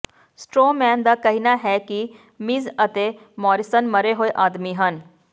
Stroman ਦਾ ਕਹਿਣਾ ਹੈ ਕਿ ਮਿਜ਼ ਅਤੇ ਮੋਰਿਸਨ ਮਰੇ ਹੋਏ ਆਦਮੀ ਹਨ